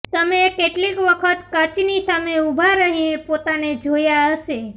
તમે કેટલીક વખત કાચની સામે ઉભા રહીને પોતાને જોયા હશે